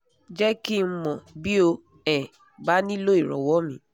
jẹ́ kí n mọ̀ bí o um bá nílò ìranwọ́ míì